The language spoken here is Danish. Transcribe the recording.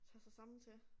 Tage sig sammen til